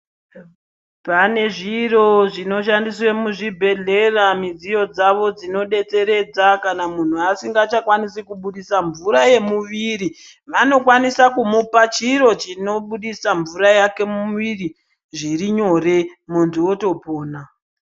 Pane zviro zvinoshandiswe muzvibhelhera midziyo dzawo dzinodetseredza kana muntu asisanga chakwanisi kubudisa mvura yemuviri vanokwanisa kumupa chiro chinobudisa mvura yake muviri zvirinyore muntu otopona.